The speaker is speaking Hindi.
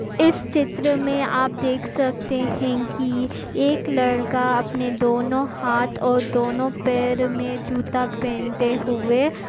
इस चित्र मे आप देख सकते है कि एक लड़का अपने दोनों हाथ और दोनों पैर मे जूता पहनते हुए--